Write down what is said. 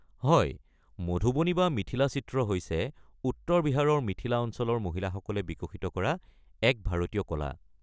হয়, মধুবনী বা মিথিলা চিত্ৰ হৈছে উত্তৰ বিহাৰৰ মিথিলা অঞ্চলৰ মহিলাসকলে বিকশিত কৰা এক ভাৰতীয় কলা।